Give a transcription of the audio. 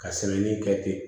Ka sɛbɛnni kɛ ten